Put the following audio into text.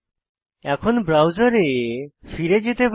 এখন ব্রাউজারে ফিরে যেতে পারি